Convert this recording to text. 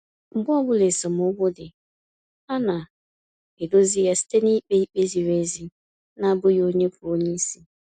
Mgbe ọbụla esemokwu dị, ha na edozi ya site na-ikpe ikpe ziri ezi na abụghị onye bụ onyeisi